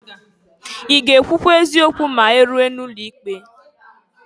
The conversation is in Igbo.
I ga-ekwụkwa eziokwu ma iruo n'ụlọ ikpe?